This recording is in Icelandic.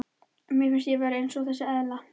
Mér finnst ég vera eins og þessi eðla.